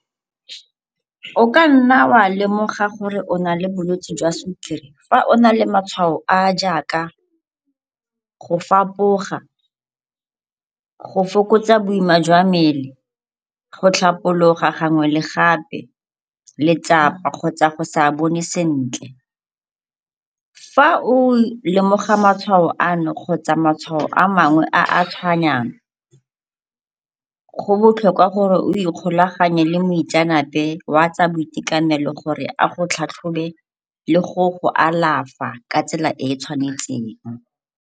O ka nna wa lemoga gore o na le bolwetsi jwa sukiri fa o na le matshwao a a jaaka go fapoga, go fokotsa boima jwa mmele, go tlhapologa gangwe le gape, letsapa kgotsa go sa bone sentle. Fa o lemoga matshwao ano kgotsa matshwao a mangwe a a tshwanang, go botlhokwa gore o ikgolaganye le moitseanape wa tsa boitekanelo gore a go tlhatlhobe le go go alafa ka tsela e e tshwanetseng.